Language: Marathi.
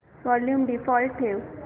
वॉल्यूम डिफॉल्ट ठेव